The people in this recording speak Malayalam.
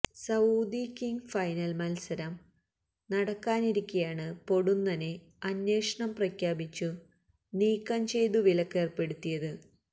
സഊദി കിംഗ് ഫൈസൽ മത്സരം നടക്കാനിരിക്കെയാണ് പൊടുന്നനെ അന്വേഷണം പ്രഖ്യാപിച്ചു നീക്കം ചെയ്തു വിലക്കേർപ്പെടുത്തിയത്